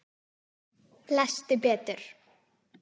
Lestu betur!